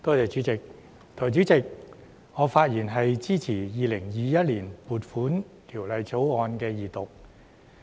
代理主席，我發言支持《2021年撥款條例草案》二讀。